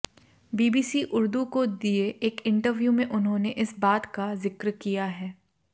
BBC Urdu को दिए एक इंटरव्यू में उन्होंने इस बात का जिक्र किया है